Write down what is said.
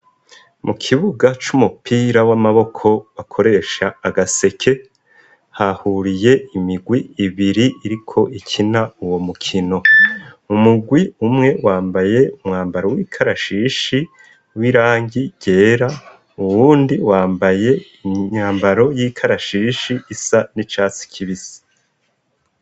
Mu kibuga c'umupira w'amaboko bakoresha agaseke hahuriye imigwi ibiri iriko ikina uwo mukino umugwi umwe wambaye umwambaro w'ikarashishi w'irangi ryera uwundi wambaye inyambaro y'ikarashishi isa ni catsi kibisi.